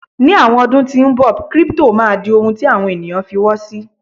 ní àwọn ọdún tí nbọ, crypto ma di ohun ti àwọn ènìyàn f'iwo sí